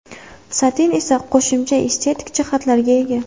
Satin esa qo‘shimcha estetik jihatlarga ega.